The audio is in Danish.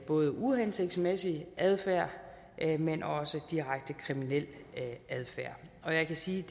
både uhensigtsmæssig adfærd men også direkte kriminel adfærd og jeg kan sige